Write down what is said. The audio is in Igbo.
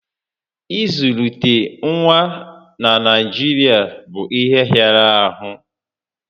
Ị zụlite nwa na Naijirịa bụ ihe hịara ahụ